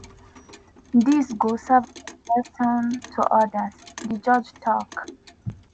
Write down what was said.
dis go serve as lesson to odas” di judge tok.